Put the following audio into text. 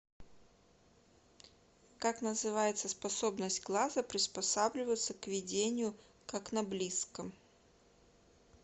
как называется способность глаза приспосабливаться к видению как на близком